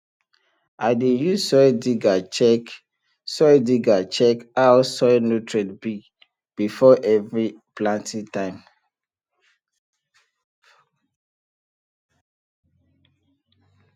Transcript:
i dey use soil digger check soil digger check how soil nutrient be before every planting time